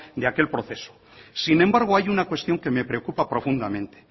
de aquel proceso sin embargo hay una cuestión que me preocupa profundamente